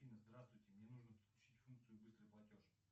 афина здравствуйте мне нужно подключить функцию быстрый платеж